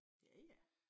Ja ja